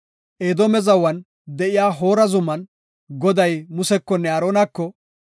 Edoome zawan de7iya Hoora zuman, Goday Musekonne Aaronako,